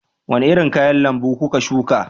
Wani irin kayan lambu kuka shuka